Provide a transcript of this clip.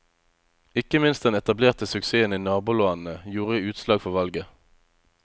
Ikke minst den etablerte suksessen i nabolandene gjorde utslag for valget.